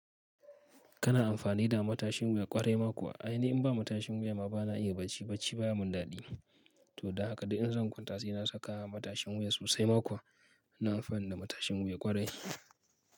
Kana amfani da matashin wuya ƙwarai ma kuwa? A ainihi in ba matashin wuya ma bana iya bacci, bacci baya mun daɗi. To don haka da in zan kwanta sai na saka matashin wuya sosai ma kuwa. Ina amfani da matashin wuya ƙwarai.